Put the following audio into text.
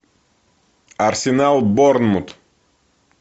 арсенал борнмут